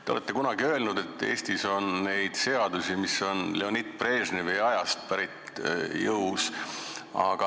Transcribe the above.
Te olete kunagi öelnud, et Eestis on jõus seadusi, mis on pärit Leonid Brežnevi ajast.